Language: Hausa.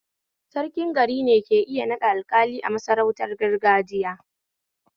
Sarkin garine ke iya naɗa Alƙali a sarautar gargajiya